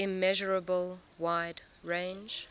immeasurable wide range